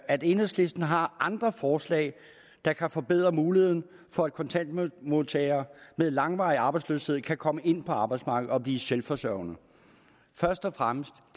at enhedslisten har andre forslag der kan forbedre muligheden for at kontanthjælpsmodtagere med langvarig arbejdsløshed kan komme ind på arbejdsmarkedet og blive selvforsørgende først og fremmest